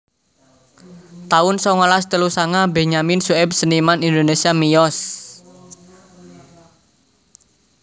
taun songolas telu sanga Benyamin Sueb seniman Indonésia miyos